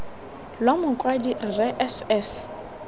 lwa mokwadi rre s s